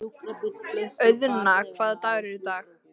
Auðna, hvaða dagur er í dag?